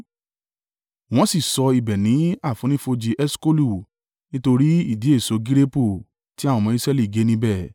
Wọ́n sì sọ ibẹ̀ ní àfonífojì Eṣkolu nítorí ìdì èso gireepu tí àwọn ọmọ Israẹli gé níbẹ̀.